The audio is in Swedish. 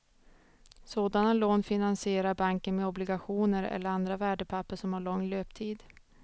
Sådana lån finansierar banken med obligationer eller andra värdepapper som har lång löptid.